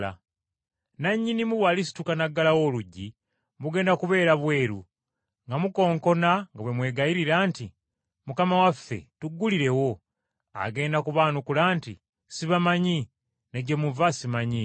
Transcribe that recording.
Nannyinimu bw’alisituka n’aggalawo oluggi, mugenda kubeera bweru nga mukonkona nga bwe mwegayirira nti, ‘Mukama waffe, tuggulirewo.’ Agenda kubaanukula nti, ‘Sibamanyi, ne gye muva simanyiiyo.’